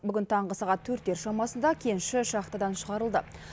бүгін таңғы сағат төрттер шамасында кенші шахтыдан шығарылды